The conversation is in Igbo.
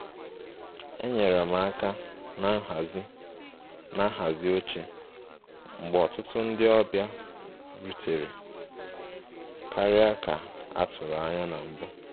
Enyere m aka na nhazi na nhazi oche mgbe ọtụtụ ndị ọbịa rutere karịa ka a tụrụ anya na mbụ